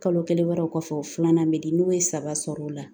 Kalo kelen wɛrɛw kɔfɛ o filanan bɛ di n'u ye saba sɔrɔ o la